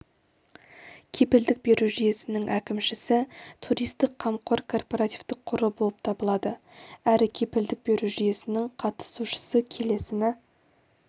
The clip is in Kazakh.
кепілдік беру жүйесінің әкімшісі туристік қамқор корпоративтік қоры болып табылады әрі кепілдік беру жүйесінің қатысушысы келесіні